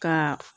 Ka